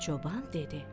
Çoban dedi: